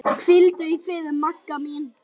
Hvíldu í friði, Magga mín.